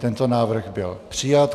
Tento návrh byl přijat.